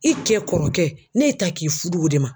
I kɛ kɔrɔkɛ ne y'i ta k'i fudu o de ma.